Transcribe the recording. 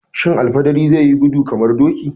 Shin fidiri zai yi gudu kamar doki?